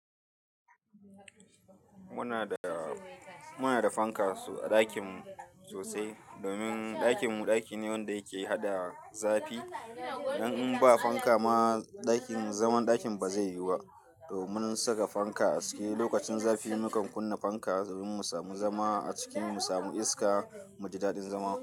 Muna da, muna da fanka a ɗakin mu sosai domin ɗakin mu ɗaki ne wanda yake hada zafi. Idan in ba fanka ma ɗakin, zaman ɗakin ba zai yiwu ba. Domin saka fanka a ciki lokacin zafi mukan kunna fanka domin mu samu zama a ciki, mu samu iska, mu ji daɗin zama.